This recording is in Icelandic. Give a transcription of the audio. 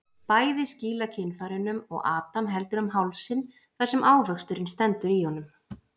Bæði skýla kynfærunum og Adam heldur um hálsinn þar sem ávöxturinn stendur í honum.